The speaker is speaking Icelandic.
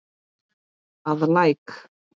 að Læk.